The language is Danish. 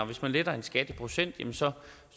hvis man letter en skat i procent så